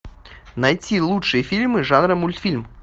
найти лучшие фильмы жанра мультфильм